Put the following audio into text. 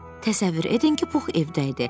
Təsəvvür edin ki, Pux evdə idi.